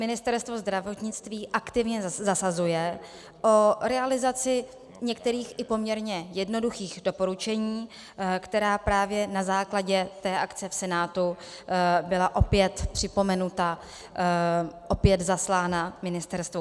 Ministerstvo zdravotnictví aktivně zasazuje o realizaci některých i poměrně jednoduchých doporučení, která právě na základě té akce v Senátu byla opět připomenuta, opět zaslána ministerstvu.